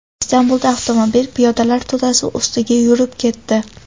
Istanbulda avtomobil piyodalar to‘dasi ustiga yurib ketdi.